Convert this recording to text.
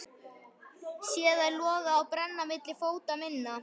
Sé þær loga og brenna milli fóta minna.